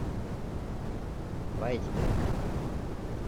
вайсберг